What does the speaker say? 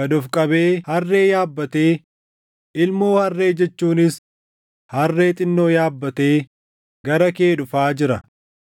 gad of qabee harree yaabbatee, ilmoo harree jechuunis harree xinnoo yaabbatee gara kee dhufaa jira.